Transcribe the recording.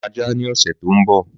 Màá ra ajá ní ọ̀sẹ̀ tó ń bọ̀